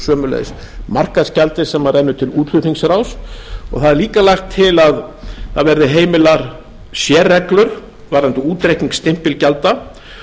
sömuleiðis markaðsgjaldi sem rennur til útflutningsráðs það er líka lagt til að það verði heimilar sérreglur varðandi útreikning stimpilgjalda